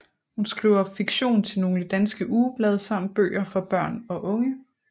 Hun skriver fiktion til nogle danske ugeblade samt bøger for børn og unge